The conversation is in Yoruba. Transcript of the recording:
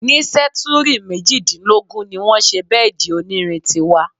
Ní sẹ́túrì mejìdínlógún ní wọ́n ṣe bẹ́èdì onírin tí wà.